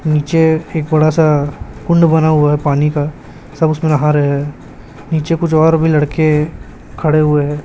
नीचे एक बड़ा सा कुंड बना हुआ है पानी का सब उसमे नहा रहे हैं नीचे कुछ और भी लड़के खड़े हुए हैं।